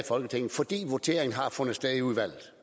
folketinget fordi voteringen har fundet sted i udvalget